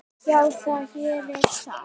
Já, það gerir það.